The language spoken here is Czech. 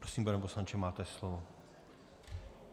Prosím, pane poslanče, máte slovo.